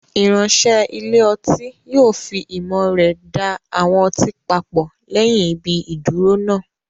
Ìránṣẹ́ ilé ọtí yóò fi ìmọ̀ rẹ̀ da àwọn ọtí papọ̀ lẹ́yìn ibi ìdúró náà.